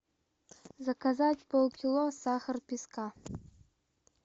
заказать полкило сахар песка